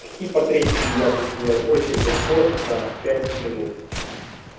такие портретики я бы сделал очень легко за пять минут